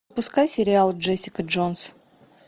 пускай сериал джессика джонс